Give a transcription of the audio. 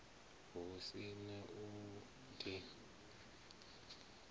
hu si na u di